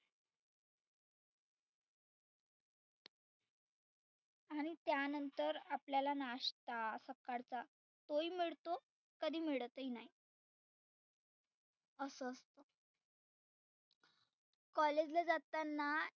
आणि त्यानंतर आपल्याला nasta सकाळचा तो ही मिळतो कधी मिळतही नाही असं असत. college ला जाताना